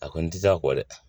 A kɔni tɛ se a kɔ dɛ